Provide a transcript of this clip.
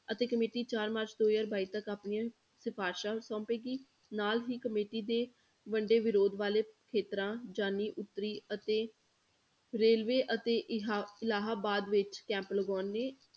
ਅਤੇ committee ਚਾਰ ਮਾਰਚ ਦੋ ਹਜ਼ਾਰ ਬਾਈ ਤੱਕ ਆਪਣੀਆਂ ਸਿਫ਼ਾਰਸ਼ਾਂ ਸੋਂਪੇਗੀ ਨਾਲ ਹੀ committee ਦੇ ਵੱਡੇ ਵਿਰੋਧ ਵਾਲੇ ਖੇਤਰਾਂ ਜਾਣੀ ਉੱਤਰੀ ਅਤੇ railway ਅਤੇ ਇਹਾ ਇਲਾਹਾਬਾਦ ਵਿੱਚ camp ਲਗਾਉਣਗੇ